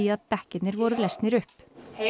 að bekkirnir voru lesnir upp